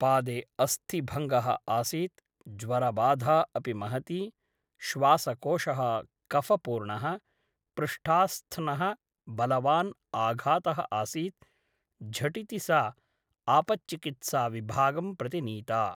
पादे अस्थिभङ्गः आसीत् । ज्वरबाधा अपि महती । श्वासकोषः कफपूर्णः । पृष्ठास्थ्नः बलवान् आघातः आसीत् । झटिति सा आपच्चिकित्साविभागं प्रति नीता ।